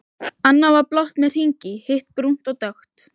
Annað var blátt með hring í, hitt brúnt og dökkt.